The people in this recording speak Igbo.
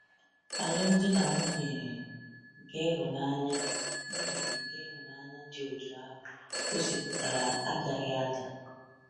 Alụmdi na nwunye nke ịhụnanya nwunye nke ịhụnanya dị otú ahụ gosipụtara agaghị ada.